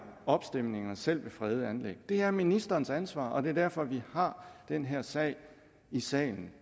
opstemninger selv ved fredede anlæg det er ministerens ansvar og det er derfor vi har den her sag i salen